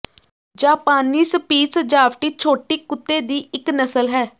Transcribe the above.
ਜਾਪਾਨੀ ਸਪਿੱਜ ਸਜਾਵਟੀ ਛੋਟੀ ਕੁੱਤੇ ਦੀ ਇੱਕ ਨਸਲ ਹੈ